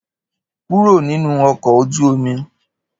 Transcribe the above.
Kúrò nínú ọkọ̀ ojú omi!